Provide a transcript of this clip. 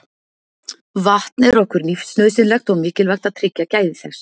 Vatn er okkur lífsnauðsynlegt og mikilvægt að tryggja gæði þess.